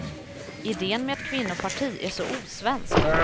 Idén med ett kvinnoparti är så osvensk.